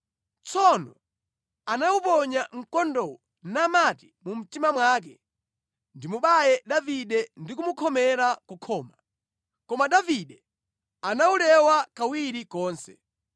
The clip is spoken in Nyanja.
Tsono anawuponya mkondowo, namati mu mtima mwake, “Ndimubaya Davide ndi kumukhomera ku khoma.” Koma Davide anawulewa kawiri konse.